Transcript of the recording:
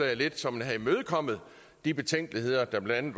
lidt så man havde imødekommet de betænkeligheder der blandt